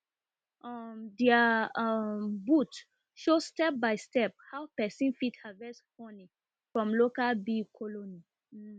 um dia um booth show stepbystep how pesin fit harvest from local bee colony um